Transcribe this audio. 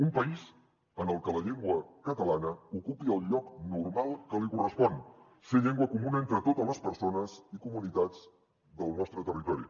un país en el que la llengua catalana ocupi el lloc normal que li correspon ser llengua comuna entre totes les persones i comunitats del nostre territori